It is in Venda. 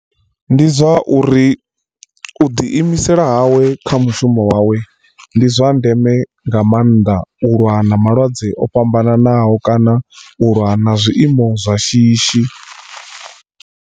Ndi zwa uri u ḓi imisela hawe kha mushumo wawe ndi zwa ndeme nga maanḓa u lwa na malwadze o fhambananaho kana u lwa na zwiiimo zwa shishi.